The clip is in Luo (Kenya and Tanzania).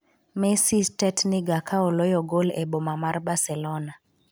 Messi tetniga ka oloyo gol e boma mar Barcelona